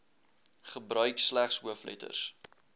gebruik slegs hoofletters